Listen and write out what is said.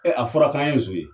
a fɔra k'an ye zon ye.